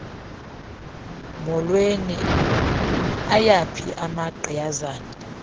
mholweni ayaphi amagqiyazane